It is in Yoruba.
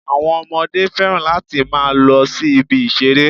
Àwọn Ọmọdé fẹ́ràn láti máa lo sí ibi ìṣeré